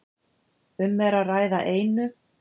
Um er að ræða einu